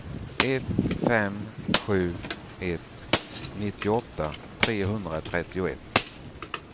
ett fem sju ett nittioåtta trehundratrettioett